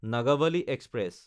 Nagavali express